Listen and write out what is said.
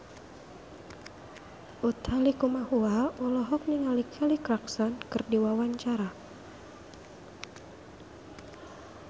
Utha Likumahua olohok ningali Kelly Clarkson keur diwawancara